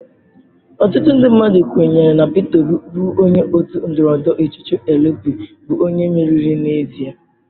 Ọtụtụ ndị mmadụ kwenyere na Peter Obi bụ onye otu ndọrọndọrọ ọchịchị Elu Pi bụ onye meriri n'ezie.